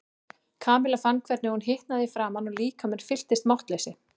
Kamilla fann hvernig hún hitnaði í framan og líkaminn fylltist máttleysi.